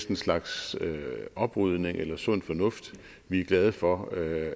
en slags oprydning eller sund fornuft vi er glade for at